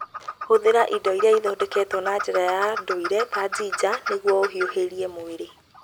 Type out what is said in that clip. Hũthĩra indo iria ithondeketwo na njĩra ya ndũire ta njinja nĩguo ũhiũhĩrie mwĩrĩ.